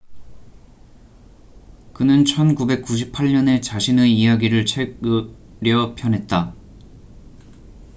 그는 1998년에 자신의 이야기를 책으려 펴냈다